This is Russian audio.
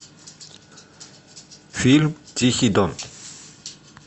фильм тихий дон